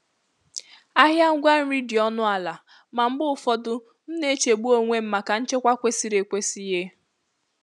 Ahịa ngwa nri dị ọnụ ala, ma mgbe ụfọdụ m na-echegbu onwe m maka nchekwa kwesịrị ekwesị. um